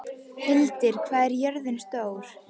Hildir, hvað er jörðin stór?